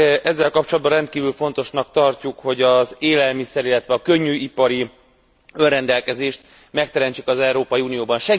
Ezzel kapcsolatban rendkívül fontosnak tartjuk, hogy az élelmiszer illetve a könnyűipari önrendelkezést megteremtsük az Európai Unióban.